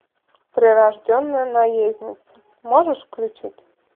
прирожденная наездница можешь включить